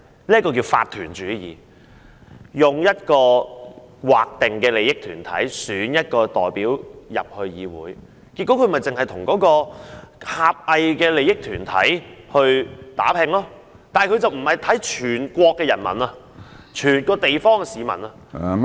那是叫做法團主義，用劃定的利益團體選一些代表加入議會，結果他們就只會為狹隘的團體利益打拼，但就不會看看全國人民、整個地方的市民......